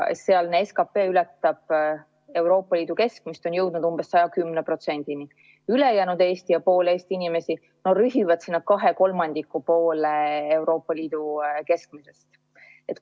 Sealne SKP ületab Euroopa Liidu keskmist, on jõudnud umbes 110%‑ni, ülejäänud Eesti ja pool Eesti inimestest rühivad 2/3 poole Euroopa Liidu keskmisest.